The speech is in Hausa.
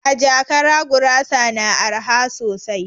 A jakara gurasa na araha sosai